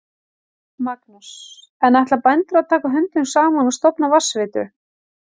Magnús: En ætla bændur að taka höndum saman og stofna vatnsveitu?